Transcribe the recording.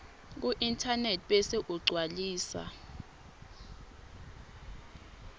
kuinternet bese ugcwalisa